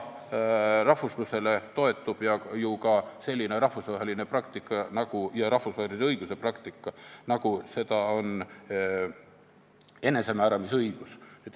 Rahvuslusele toetub ju ka selline rahvusvaheline praktika ja rahvusvahelise õiguse praktika, nagu seda on enesemääramisõigus.